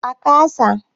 A ka sa